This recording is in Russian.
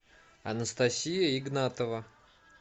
анастасия игнатова